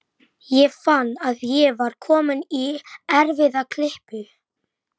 Hann greip hann og dró hann upp.